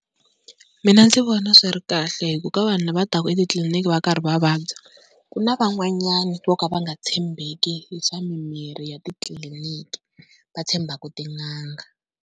Mina ndzi vona swi ri kahle hi ku ka vanhu lava taka etitliliniki va karhi va vabya ku na van'wanyana vo ka va nga tshembeki hi swa mimirhi ya titliliniki va tshembaka tin'anga.